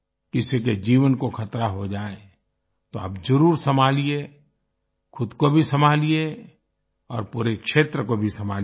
किसी के जीवन को खतरा हो जाए तो आप जरुर संभालिये खुद को भी संभालिये और पूरे क्षेत्र को भी संभालिये